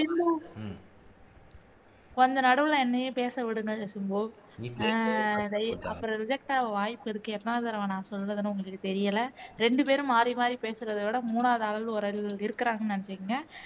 கொஞ்சம் நடுவுல என்னையும் பேச விடுங்க சிம்பு அஹ் அப்புறம் reject ஆக வாய்ப்பு இருக்கு எத்தனை தடவை நான் சொல்றதுன்னு தெரியல இரண்டுபேரும் மாறி மாறி பேசுறதைவிட மூணாவது ஆள் ஒரு ஆள் இருக்கிறாங்கன்னு நினைச்சுக்குங்க